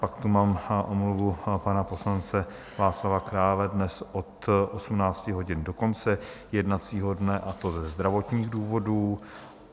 Pak tu mám omluvu pana poslance Václava Krále dnes od 18 hodin do konce jednacího dne, a to ze zdravotních důvodů.